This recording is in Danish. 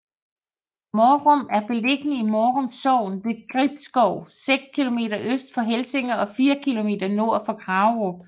Mårum er beliggende i Mårum Sogn ved Gribskov seks kilometer øst for Helsinge og fire kilometer nord for Kagerup